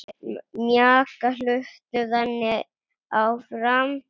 Mjaka hlutum þannig áfram.